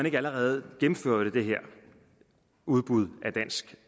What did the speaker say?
ikke allerede gennemførte det her udbud af dansk